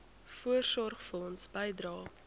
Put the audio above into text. voorsorgfonds bydrae